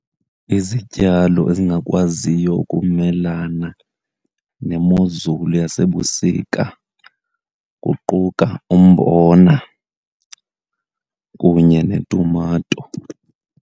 Izityalo ezingakwaziyo ukumelana nemozulu yasebusika kuquka umbona kunye netumato.